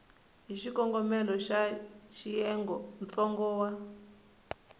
hi xikongomelo xa xiyenge ntsongo